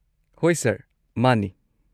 ꯍꯣꯏ ꯁꯔ, ꯃꯥꯅꯤ꯫